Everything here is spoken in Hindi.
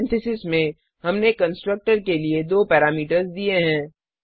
पैरेंथेसिस में हमने कंस्ट्रक्टर के लिए दो पैरामीटर्स दिए हैं